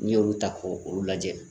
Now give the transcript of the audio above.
N'i y'olu ta k'o olu lajɛ